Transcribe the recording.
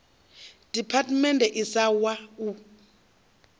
department a si wa u